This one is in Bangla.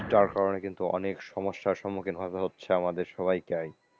যার কারণে কিন্তু অনেক সমস্যার সম্মুখীন হতে হচ্ছে আমাদের সবাইকে,